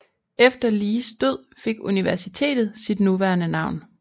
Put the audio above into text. Efter Lees død fik universitetet sit nuværende navn